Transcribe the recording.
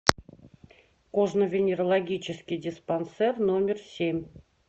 кожно венерологический диспансер номер семь